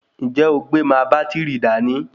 Ǹjẹ́ o gbé máa bátìrì dání?